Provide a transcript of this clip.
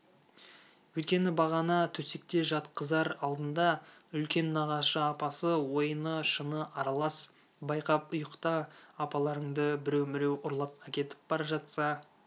өйткені бағана төсекке жатқызар алдында үлкен нағашы апасы ойыны-шыны аралас байқап ұйықта апаларыңды біреу-міреу ұрлап әкетіп бара жатса